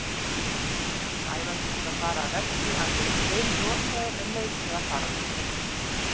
Sævar þurfti að fara af velli alveg steinrotaður en neitaði að fara á sjúkrahúsið.